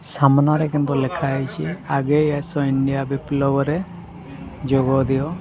ସାମ୍ନାରେ କିନ୍ତୁ ଲେଖାହେଇଚି ଆଗେଇ ଆସ ଇଣ୍ଡିଆ ବିପ୍ଳବରେ ଯୋଗ ଦିଅ।